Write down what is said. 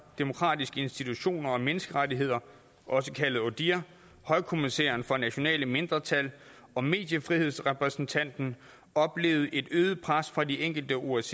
demokratiske institutioner og menneskerettigheder også kaldet odihr højkommissæren for nationale mindretal og mediefrihedsrepræsentanten oplevede et øget pres fra de enkelte osce